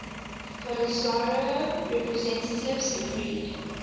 polisario representatives agreed